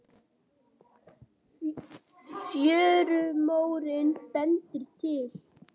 Fjörumórinn bendir til